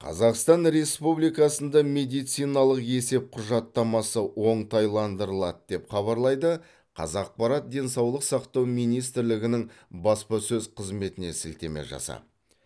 қазақстан республикасында медициналық есеп құжаттамасы оңтайландырылады деп хабарлайды қазақпарат денсаулық сақтау министрлігінің баспасөз қызметіне сілтеме жасап